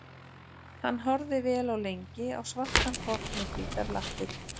Hann horfði vel og lengi á svartan hvolp með hvítar lappir.